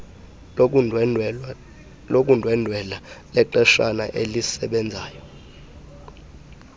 lokundwendwela lexeshana elisebenzayo